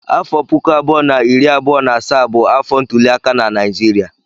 Afọ puku abụọ na iri abụọ na asaa bụ afọ ntuliaka na Naịjirịa.